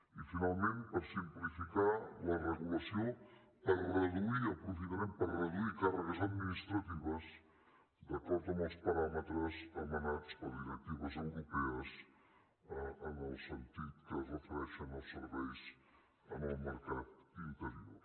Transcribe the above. i finalment per simplificar la regulació aprofitarem per reduir càrregues administratives d’acord amb els paràmetres emanats per directives europees en el sentit que es refereixen als serveis en el mercat interior